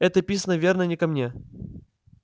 это писано верно не ко мне